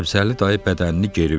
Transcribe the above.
Səbzəli dayı bədənini geri verdi.